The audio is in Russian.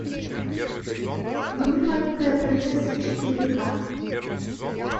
вруби маленькая принцесса четыре ка